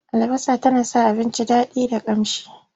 Albasa tana sa abinci daɗi da ƙamshi.